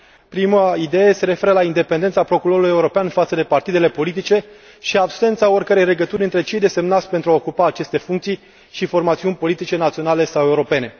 Prima idee se referă la independența Procurorului European față de partidele politice și absența oricărei legături între cei desemnați pentru a ocupa aceste funcții și formațiunile politice naționale sau europene.